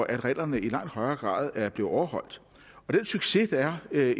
at reglerne i langt højere grad er blevet overholdt den succes der er